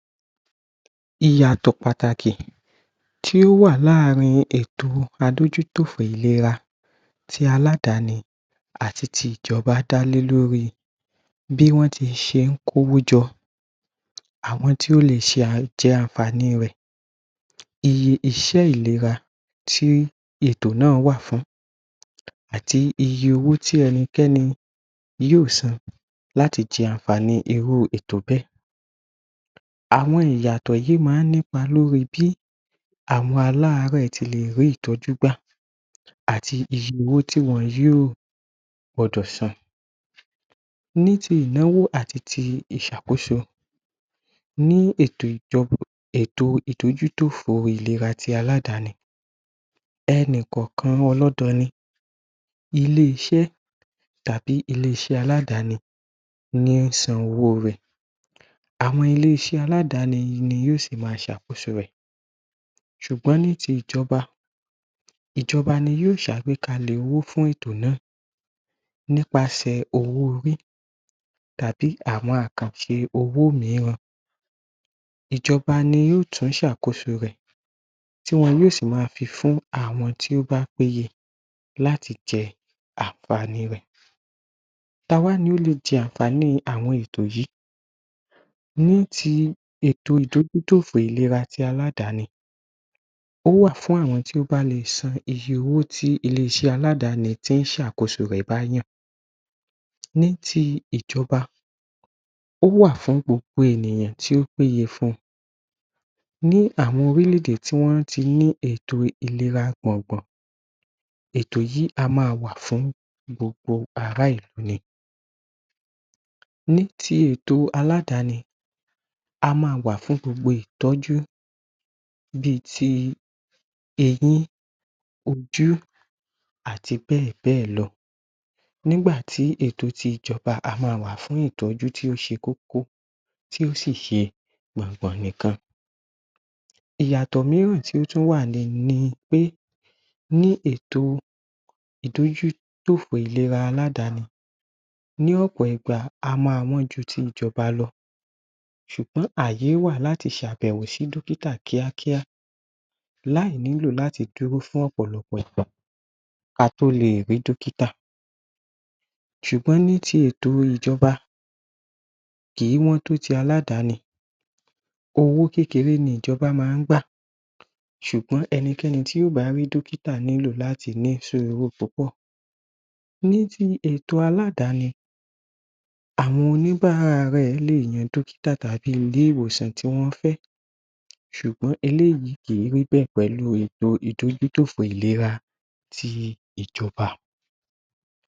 Ìyàtọ̀ pàtàkì Tí ó wà lááàrin ètò adójú tòfin ìléra ti aládàni àti ti ìjọ́ba dá lé lóri bí wọ́n ti ń ṣé kówó jọ àwọn tí wọ́n lè jẹ ànfàààní rẹ̀ iṣẹ́ ìléra tí ètò náà wà fùn-ún àti iye owó tí ẹnikẹ́ni yóò san láti jẹ ànfàààní irú ètò bẹ́ẹ̀ àwọn ìyàtọ̀ yíì máa ń nípa lórí bí àwọn aláàárẹ̀ ti lè rí ìtọ́jú gbà àti iye owó tí wọ́n yóò gbọdọ̀ san ní ti ìnáwó àti ti ìṣàkóso ní ètò ìtọ́jú tófin ìlẹ́ra ti aláàdáni ẹni kọ̀ọ̀kan inú ọlọ́dọ ni ilé-iṣẹ́ tàbí ilé-iṣẹ́ aláàdáni ní ń sin owó rẹ̀ àwọn ilé-iṣẹ́ aláàdáni ni yóò sì ma ṣàkóso rẹ̀ sùgbọ́n ní ti ìjọ́ba ìjọ́ba ni yóò ṣe àgbékalẹ̀ owó fụ́n ètò náà nípa sẹ̀ owó-orí tàbí àwọn àkànṣe owó míiràn ìjọ́ba ni yóò tún ṣe àkóso rẹ̀ tí wọ́n yóò sì ma pin fún àwọn tí ó bá péyẹ láti jẹ ànfàààní rẹ̀ ta wá ni ó lè jẹ ànfààaní àwọn ètò yìí ní ti ètò ìtọ́jú tófin ìlẹ́ra ti aláàdán ó wà fún àwọn tí ó bá le san iye owó ti ilé-iṣẹ́ aláàdán tí ń sàkóso rẹ̀ bá yàn ní ti ìjọ́ba ó wà fún gbogbo ènìyàn tí ó péye fun ní àwọn orílé-èdè tí wọ́n ti ní ètò ìléra gbọ̀n gbọ̀n ètò yìí á ma wà fún gbogbo ará-ìlú ni ní ti èto aláàdàni á maà wà fún gbogbo ìtọ́jú bí ti eyín ojú àti bẹ́ẹ̀ bẹ́ẹ̀ lọ nígbà tí ètò ti ìjọ́ba á ma wà fún ìtọ́jú tí ó ṣe kókó tí ó sì ṣe gbọ̀ngbọ̀n nìkan ìyàtọ̀ míìràn tí ó wà ni pé ní ètò ìtọ́jú tófin ìlẹ́ra ti aláàdáni ní ọ̀pọ̀ ìgbà á ma wọ́n ju ti ìjọ́ba lọ sùgbọ́n àyè wà láti ṣe àbẹ̀wò sí dókítà kíákíá láì nílò láti dúró fún ọ̀pọ̀lọpọ̀ ìgbà kí a tó lè rí dọ́kíta sùgbọ́n ní ti ètò ìjọ́ba kì í wọ́n tó ti aláàdáni owó kékeré ni ìjọ́ba máa ń gbà sùgbọ́n ẹnikẹ́ni tí ò bá rí dọ́kítà nílò láti ní sùúrù tó pọ̀ ní ti ètò aláàdáni àwọn oníbàárẹ̀ lè yan dọ́kítà tàbí ilé-ìwòsàn tí wọ́n fẹ́ sùgbọ́n eléyíì kì í rí bẹ̀ pẹ̀lú ètò ìtọ́jú tófin ìlẹ́ra ti ìjọ́ba